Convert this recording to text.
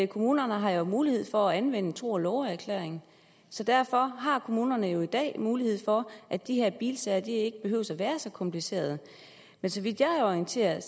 kommunerne har jo mulighed for at anvende en tro og love erklæring så derfor har kommunerne jo i dag mulighed for at de her bilsager ikke behøver at være så komplicerede så vidt jeg er orienteret er